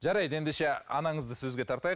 жарайды ендеше анаңызды сөзге тартайық